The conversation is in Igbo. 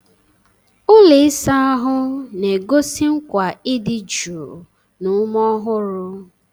Ụlọ ịsa ahụ na-egosi nkwa ịdị jụụ na ume ọhụrụ.